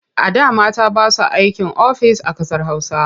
A da mata ba sa aikin ofis a ƙasar Hausa.